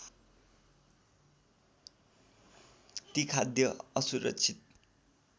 ती खाद्य असुरक्षित